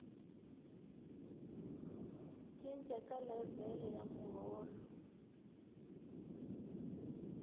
cinca ka levhele ya muholo